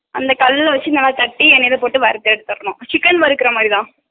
அந்த கல்லுல வெச்சு நல்லா தட்டி எண்ணைல போட்டு நல்ல வறுத்து எடுதுரளா chicken வருக்குரமாரித்த